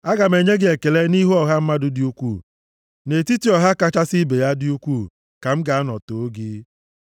Aga m enye gị ekele nʼihu ọha mmadụ dị ukwuu, nʼetiti ọha kachasị ibe ya dị ukwuu, ka m ga-anọ too gị.